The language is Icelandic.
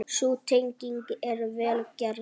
Sú tenging er vel gerð.